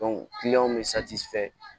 bɛ fɛ